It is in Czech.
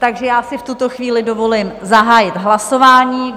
Takže já si v tuto chvíli dovolím zahájit hlasování.